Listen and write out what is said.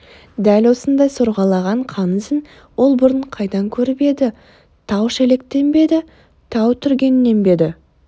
дәл осындай сорғалаған қан ізін ол бұрын қайдан көріп еді тау-шелектен бе еді тау-түргеннен бе еді